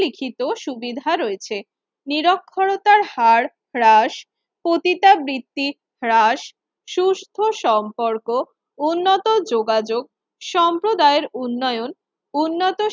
লিখিত সুবিধা রয়েছে। নিরক্ষরতার হার হ্রাস, পতিতাবৃত্তি হ্রাস, সুস্থ সম্পর্ক, উন্নত যোগাযোগ সম্প্রদায়ের উন্নয়ন উন্নত